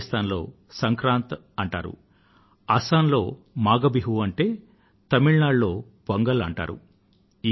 రాజస్థాన్ లో సంక్రాంత్ అంటారు అసమ్ లో మాఘ బిహు అంటే తమిళ నాడు లో పొంగల్ అంటారు